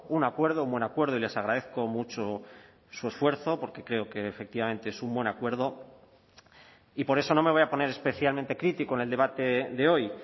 un acuerdo un buen acuerdo y les agradezco mucho su esfuerzo porque creo que efectivamente es un buen acuerdo y por eso no me voy a poner especialmente crítico en el debate de hoy